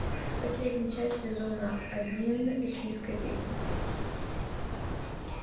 последняя часть сезона один эльфийская песнь